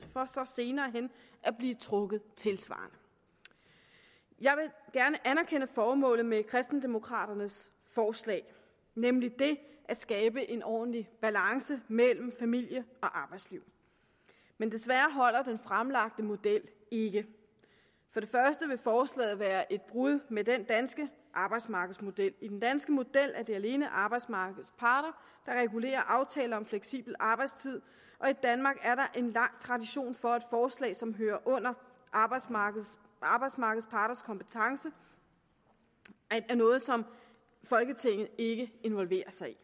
for så senere hen at blive trukket tilsvarende jeg vil gerne anerkende formålet med kristendemokraternes forslag nemlig det at skabe en ordentlig balance mellem familie og arbejdsliv men desværre holder den fremlagte model ikke for det første vil forslaget være et brud med den danske arbejdsmarkedsmodel i den danske model er det alene arbejdsmarkedets parter der regulerer aftaler om fleksibel arbejdstid og i danmark er der en lang tradition for at forslag som hører under arbejdsmarkedets arbejdsmarkedets parters kompetence er noget som folketinget ikke involverer sig i